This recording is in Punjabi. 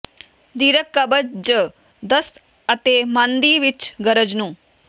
ਦੀਰਘ ਕਬਜ਼ ਜ ਦਸਤ ਅਤੇ ਮੰਨ ਦੀ ਵਿੱਚ ਗਰਜ ਨੂੰ